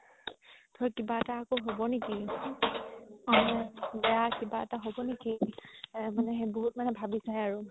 ধৰ কিবা এটা আৰু হ'ব নেকি বেয়া কিবা এটা হ'ব নেকি আ মানে বহুত মানে ভাবিছাই আৰু